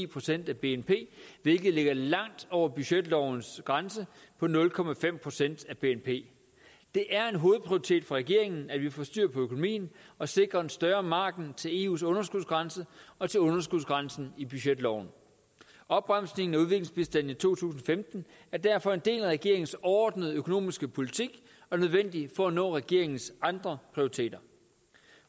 procent af bnp hvilket ligger langt over budgetlovens grænse på nul procent af bnp det er en hovedprioritet for regeringen at vi får styr på økonomien og sikrer en større margen til eus underskudsgrænse og til underskudsgrænsen i budgetloven opbremsningen i udviklingsbistanden i to tusind og femten er derfor en del af regeringens overordnede økonomiske politik og nødvendig for at nå regeringens andre prioriteter